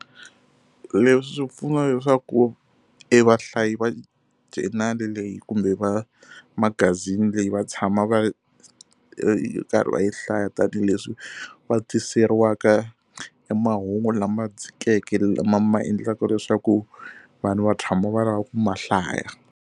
Leswi swi pfuna leswaku e vahlayi va journal-i leyi kumbe va magazini leyi va tshama va ri karhi va yi hlaya tanihileswi va tiseriwaka e mahungu lama dzhikeke lama ma endlaka leswaku vanhu va tshama va lava ku ma hlaya.